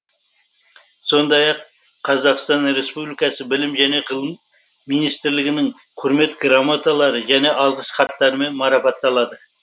сондай ақ қазақстан республикасы білім және ғылым министрлігінің құрмет грамоталары және алғыс хаттарымен марапатталады